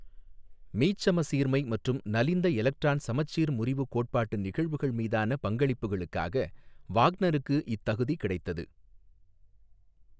மீச்சமசீர்மை மற்றும் நலிந்த எலக்ட்ரான் சமச்சீர் முறிவு கோட்பாட்டு நிகழ்வுகள் மீதான பங்களிப்புகளுக்காக வாக்னருக்கு இத்தகுதி கிடைத்தது.